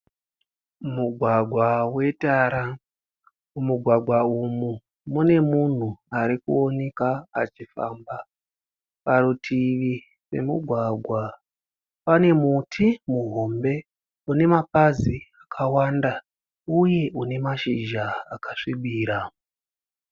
Mugwagwa wetara. Mumugwagwa umu mune munhu arikuoneka achifamba. Parutivi pemugwagwa pane muti muhombe unema pazi akawanda uye une mashizha akasvibira